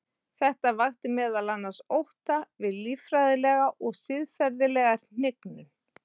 Þetta vakti meðal annars ótta við líffræðilega og siðferðilega hnignun.